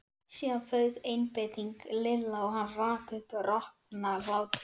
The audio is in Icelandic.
Síðan fauk einbeiting Lilla og hann rak upp roknahlátur.